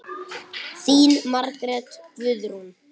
Þín Margrét Guðrún.